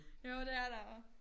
Jo det er der også